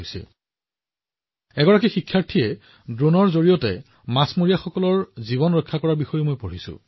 মই এজন যুৱ ছাত্ৰৰ বিষয়েও পঢ়িছোঁ যিয়ে তেওঁৰ ড্ৰোনৰ সহায়ত মাছমৰীয়াসকলৰ জীৱন ৰক্ষা কৰিছিল